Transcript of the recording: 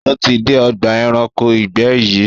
Ó ti dé ọgbà ẹranko ìgbẹ́ rí